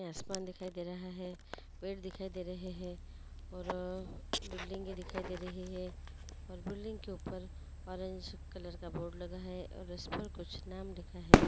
यहाँ आसमान दिखाई दे रहा है पेड़ दिखाई दे रहे हैऔर बिल्डिंगे दिखाई दे रही है और बिल्डिंग के ऊपर ऑरेंज कलर का बोर्ड लगा है और उस पर कुछ नाम लिखा है।